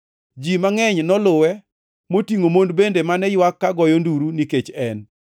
Ji mangʼeny noluwe, motingʼo mon bende mane ywak ka goyo nduru nikech en.